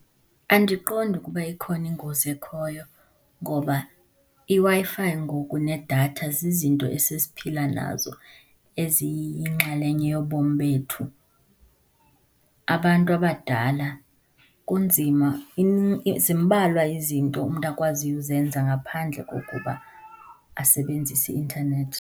Andiqondi ukuba ikhona ingozi ekhoyo ngoba iWi-Fi ngoku nedatha zizinto esesiphila nazo eziyinxalenye yobomi bethu. Abantu abadala kunzima zimbalwa izinto umntu akwaziyo uzenza ngaphandle kokuba asebenzise i-intanethi.